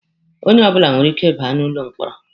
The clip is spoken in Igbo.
Onye ọbụla nwere ike ị ba n'ụlọ mkpọrọ.